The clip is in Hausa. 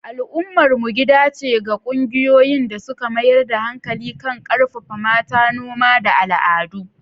Al'ummar mu gida ce ga ƙungiyoyin da suka mayar da hankali kan ƙarfafa mata, noma, da al'adu.